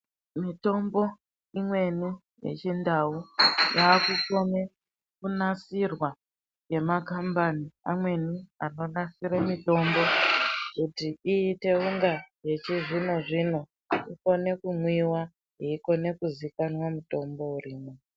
Mitombo imweni yechindau yakukone kunasirwa nemakambani amweni anonasire mitombo kuti iite unga yechizvino zvino yeikone kumwiwa yeikone kuzikananwa mutombo urimwo.